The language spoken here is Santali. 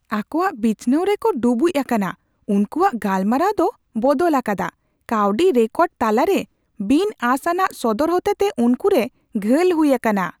ᱟᱠᱚᱣᱟᱜ ᱵᱤᱪᱷᱱᱟᱶ ᱨᱮᱠᱚ ᱰᱩᱵᱩᱡ ᱟᱠᱟᱱᱟ, ᱩᱱᱠᱩᱣᱟᱜ ᱜᱟᱞᱢᱟᱨᱟᱣ ᱫᱚ ᱵᱚᱫᱚᱞ ᱟᱠᱟᱫᱟ, ᱠᱟᱹᱣᱰᱤ ᱨᱮᱠᱚᱨᱰ ᱛᱟᱞᱟᱨᱮ ᱵᱤᱱᱼᱟᱸᱥ ᱟᱱᱟᱜ ᱥᱚᱫᱚᱨ ᱦᱚᱛᱮᱛᱮ ᱩᱱᱠᱩ ᱨᱮ ᱜᱷᱟᱹᱞ ᱦᱩᱭ ᱟᱠᱟᱱᱟ ᱾